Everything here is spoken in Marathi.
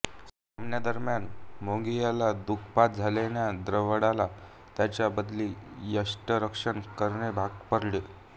सामन्यादरम्या मोंगियाला दुखापत झाल्याने द्रविडला त्याच्या बदली यष्टिरक्षण करणे भाग पडले